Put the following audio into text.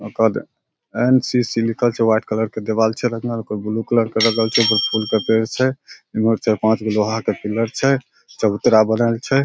ओ के बाद एन.सी.सी. लिखल छै वाइट कलर के देवाल छे रंगल कोई ब्लू कलर के रंगल छै फूल के पेड़ छै इमहर चार पांच गो लोहा के पिलर छै चबूतरा बनल छै ।